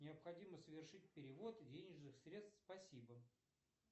необходимо совершить перевод денежных средств спасибо